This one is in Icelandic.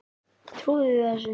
Trúið þið þessu?